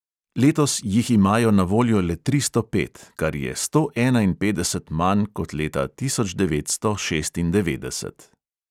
Letos jih imajo na voljo le tristo pet, kar je sto enainpetdeset manj kot leta tisoč devetsto šestindevetdeset.